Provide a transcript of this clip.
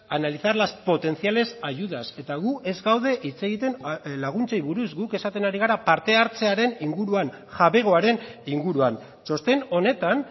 analizar las potenciales ayudas eta gu ez gaude hitz egiten laguntzei buruz guk esaten ari gara parte hartzearen inguruan jabegoaren inguruan txosten honetan